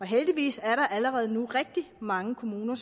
heldigvis allerede nu rigtig mange kommuner